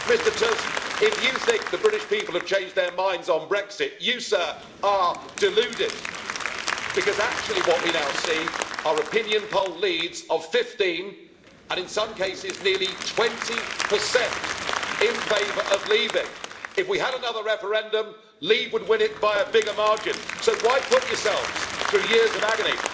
Mr Tusk, if you think the British people have changed their minds on Brexit, you, sir, are deluded what we actually now see are opinion poll leads of 15, and in some cases nearly 20, in favour of leaving. If we had another referendum, Leave would win it by a bigger margin, so why put yourselves through years of agony?